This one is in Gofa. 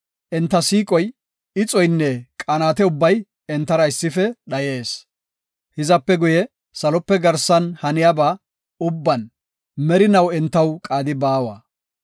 Enta siiqoy, ixoynne qanaate ubbay entara issife dhayees. Hizape guye salope garsan haniyaba ubban merinaw entaw qaadi baawa.